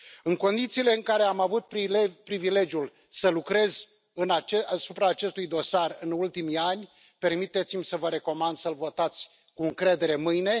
În condițiile în care am avut privilegiul să lucrez asupra acestui dosar în ultimii ani, permiteți-mi să vă recomand să l votați cu încredere mâine.